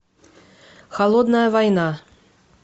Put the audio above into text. холодная война